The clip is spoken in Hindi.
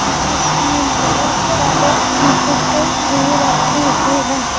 जिसमें बहुत सारे बुक ए भी रखी हुई है।